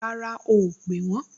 Rárá o ò pè wọ́n